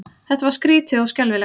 Þetta var skrýtið og skelfilegt.